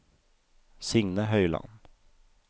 Signe Høiland